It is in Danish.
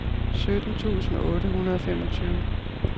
sytten tusind otte hundrede og femogtyve